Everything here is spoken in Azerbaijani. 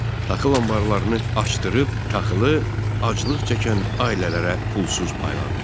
Taxıl anbarlarını açdırıb taxılı aclıq çəkən ailələrə pulsuz payladı.